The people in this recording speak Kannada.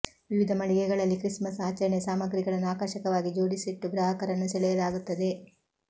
ವಿವಿಧ ಮಳಿಗೆಗಳಲ್ಲಿ ಕ್ರಿಸ್ ಮಸ್ ಆಚರಣೆಯ ಸಾಮಗ್ರಿಗಳನ್ನು ಆಕರ್ಷಕವಾಗಿ ಜೋಡಿಸಿಟ್ಟು ಗ್ರಾಹಕರನ್ನು ಸೆಳೆಯಲಾಗುತ್ತದೆ